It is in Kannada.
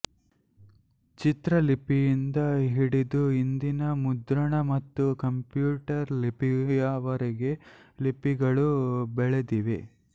ಚಿತ್ರ ಲಿಪಿಯಿಂದ ಹಿಡಿದು ಇಂದಿನ ಮುದ್ರಣ ಮತ್ತು ಕಂಪ್ಯೂಟರ್ ಲಿಪಿಯವರೆಗೆ ಲಿಪಿಗಳು ಬೆಳೆದಿವೆ